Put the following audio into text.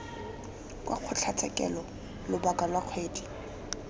kwa kgotlatshekelo lobaka lwa kgwedi